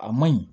A man ɲi